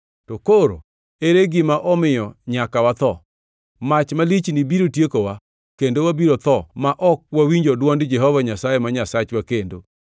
To koro ere gima omiyo nyaka watho? Mach malichni biro tiekowa kendo wabiro tho ma ok wawinjo dwond Jehova Nyasaye ma Nyasachwa kendo.